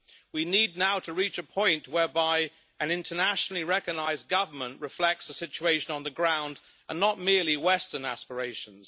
We need now to reach a point whereby an internationally recognised government reflects the situation on the ground, and not merely western aspirations.